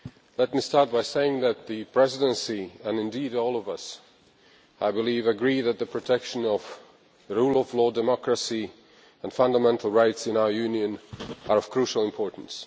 Let me start by saying that the Presidency, and indeed all of us, agree that the protection of the rule of law, democracy and fundamental rights in our Union are of crucial importance.